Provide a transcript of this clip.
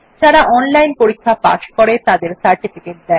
যারা অনলাইন পরীক্ষা পাস করে তাদের সার্টিফিকেট দেয়